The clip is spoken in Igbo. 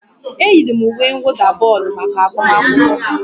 E yiri m uwe mwụda bọọlụ maka agụmakwụkwọ m